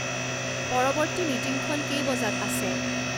পৰৱৰ্তী মিটিংখন কেই বজাত আছে